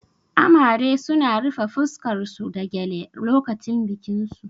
Amare suna rufe fuskar su da gyale lokacin bikin su